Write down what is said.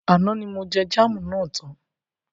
Àná ní mo jẹ jámù na tán.